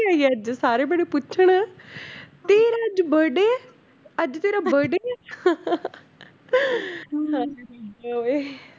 ਅੱਜ ਸਾਰੇ ਬੜੇ ਪੁੱਛਣ ਤੇਰਾ ਅੱਜ birthday ਹੈ ਅੱਜ ਤੇਰਾ birthday ਹੈ